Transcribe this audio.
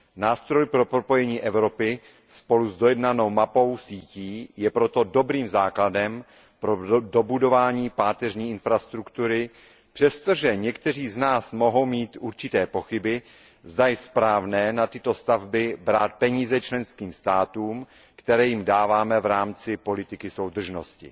Nástroj pro propojení Evropy je spolu s dojednanou mapou sítí proto dobrým základem pro dobudování páteřní infrastruktury, přestože někteří z nás mohou mít určité pochyby, zda je správné na tyto stavby brát peníze členským státům, které jim dáváme v rámci politiky soudržnosti.